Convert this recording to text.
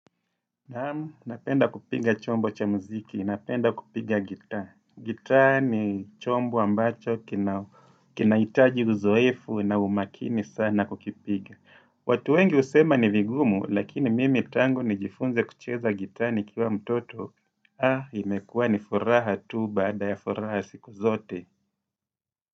Naam, napenda kupiga chombo cha mziki, napenda kupiga gitaa. Gitaa ni chombo ambacho kina kinahitaji uzoefu na umakini sana kukipiga. Watu wengi husema ni vigumu, lakini mimi tangu ni jifunze kucheza gitsa nikiwa mtoto. Ha, imekua ni furaha tu baada ya furaha siku zote.